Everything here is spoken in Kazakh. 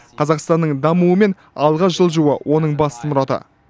қазақстанның дамуы мен алға жылжуы оның басты мұраты